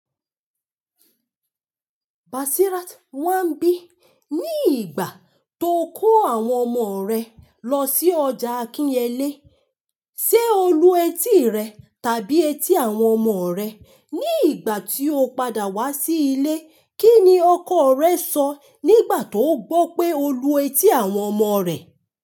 Basirat, wàá bí ní ìgbà tó kó àwọn ọmọ rẹ lọ sí ọjà Akinyele, ṣe olú etí rẹ tàbí etí àwọn ọmọ rẹ? Ní ìgbà tí o padà wá sí ilé, kí ni ọkọ rẹ sọ nígbà tó gbọ́ pé olú etí àwọn ọmọ rẹ̀?